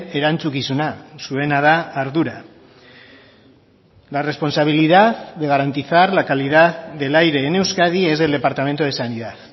erantzukizuna zuena da ardura la responsabilidad de garantizar la calidad del aire en euskadi es del departamento de sanidad